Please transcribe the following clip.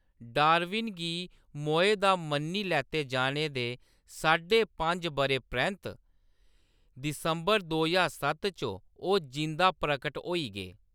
Darwin गी मोए दा मन्नी लैते जाने दे साढे पंज बʼरें परैंत्त, दिसंबर दो ज्हार सत्त च ओह्‌‌ जींदा प्रकट होई गे।